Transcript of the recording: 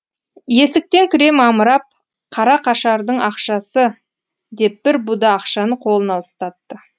есіктен кіре мамырап қара қашардың ақшасы деп бір буда ақшаны қолына ұстатты